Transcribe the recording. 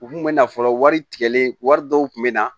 U kun bɛ na fɔlɔ wari tigɛlen wari dɔw kun bɛ na